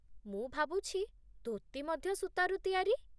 ମୁଁ ଭାବୁଛି, ଧୋତି ମଧ୍ୟ ସୂତାରୁ ତିଆରି